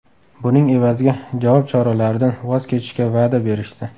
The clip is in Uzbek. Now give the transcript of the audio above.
Buning evaziga javob choralaridan voz kechishga va’da berishdi.